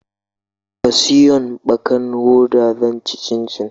Ka siyon ɓakar hoda zan ci cincin